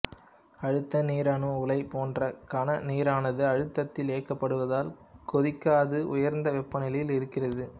அழுத்த நீர் அணு உலை போன்றே கன நீரானது அழுத்தத்தில் இயக்கப்படுவதால் கொதிக்காது உயர்ந்த வெப்பநிலையில் இருக்கிறது